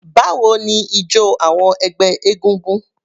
Báwo ni ijọ awọn ẹgbẹ́ egúngún?